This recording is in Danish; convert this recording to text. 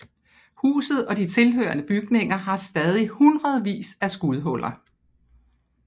Huset og de tilhørende bygninger har stadig hundredvis af skudhuller